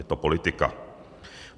Je to politika.